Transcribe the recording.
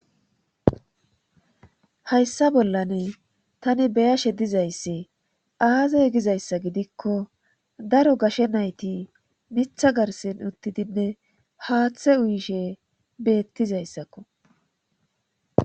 Hayssa bollan tani beyashe dizayssi aazay gizayssa gidikko daro gashe nayti mitha garsin uttidinne haaththe uyishe beettizayssakko.